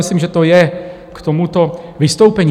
Myslím, že to je k tomuto vystoupení.